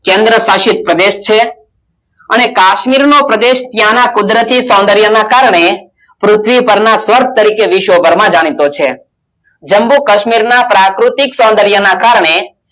કેન્દ્રશાસિત પ્રદેશ છે અને કાશ્મીરનો પ્રદેશ ત્યાંના કુદરતી સૌંદર્યના કારણે પૃથ્વી પરના સ્વર્ગ તરીકે વિશ્વભરમાં જાણીતો છે જમ્મુ કાશ્મીરના પ્રાકૃતિક સૌંદર્યના કારણે